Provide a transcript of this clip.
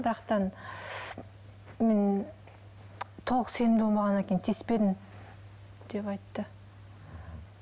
бірақ та мен толық сенімді болмағаннан кейін тиіспедім деп айтты